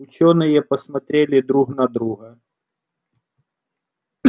учёные посмотрели друг на друга